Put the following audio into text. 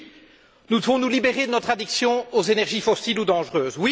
Oui, nous devons nous libérer de notre addiction aux énergies fossiles ou dangereuses.